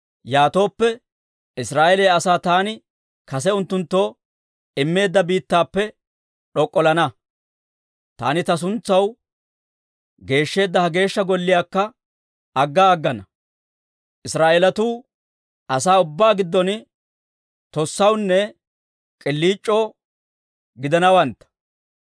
yaatooppe, Israa'eeliyaa asaa taani kase unttunttoo immeedda biittappe d'ok'ollana; taani ta suntsaw geeshsheedda ha Geeshsha Golliyaakka agga aggana. Israa'eelatuu asaa ubbaa giddon tossawunne k'iliic'oo gidanawantta.